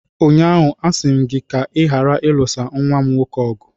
Ụnyaahụ, a sị m gị ka ị ghara ịlụsa nwa m nwoke ọgụ!